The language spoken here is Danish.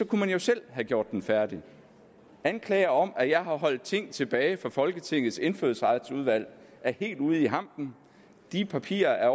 kunne man selv have gjort den færdig anklager om at jeg har holdt ting tilbage for folketingets indfødsretsudvalg er helt ude i hampen de papirer er